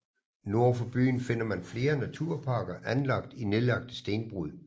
Nord for byen finder man flere naturparker anlagt i nedlagte stenbrud